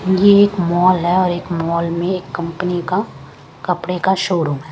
यह एक मॉल है और एक मॉल में एक कंपनी का कपड़े का शोरूम है।